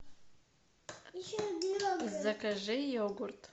закажи йогурт